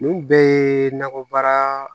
Nin bɛɛ ye nakɔbaara